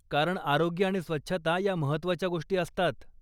कारण आरोग्य आणि स्वच्छता ह्या महत्त्वाच्या गोष्टी असतात.